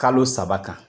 Kalo saba kan